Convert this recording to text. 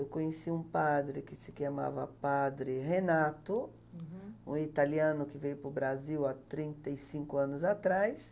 Eu conheci um padre que se chamava Padre Renato, um italiano que veio para o Brasil há trinta e cinco anos atrás.